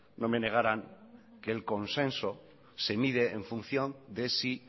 no me negaran que el consenso se mide en función de si